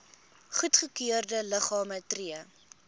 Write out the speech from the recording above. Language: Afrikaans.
goedgekeurde liggame tree